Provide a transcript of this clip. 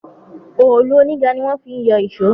Òòlù oníga ní wọ́n fi ń yọ ìṣọ́.